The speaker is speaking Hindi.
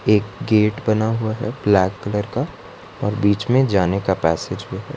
एक गेट बना हुआ है ब्लैक कलर का और बीच में जाने का पैसेज भी है।